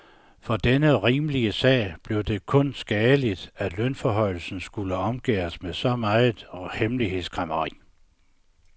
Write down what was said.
For denne rimelige sag blev det kun skadeligt, at lønforhøjelsen skulle omgærdes med så meget hemmelighedskræmmeri.